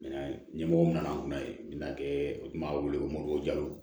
Minɛn ɲɛmɔgɔ nana n kunna yen nɔ u tun b'a wele ko